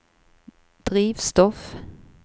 drivstoff